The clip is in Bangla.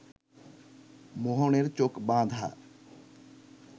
মোহনের চোখ বাঁধা